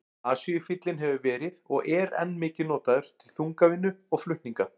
Asíufíllinn hefur verið og er enn mikið notaður til þungavinnu og flutninga.